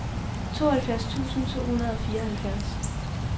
tooghalvfjerds tusind to hundrede og fireoghalvfjerds